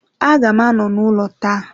Aga m anọ n'ụlọ taa.